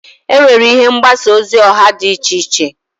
Enwere ihe mgbasa ozi oha di iche iche.